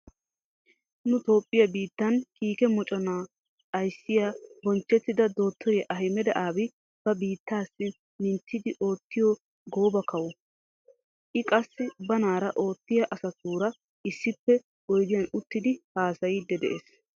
Nu toophphiya biittan kiike mocana ayssiya bonchchettida dottoriya Ahimeda Aabi ba biittaassi minttidi oottiya gooba kawo. I qassi banaara oottiya asatuura issippe oydiyan uttidi haasayiiddi de'ees.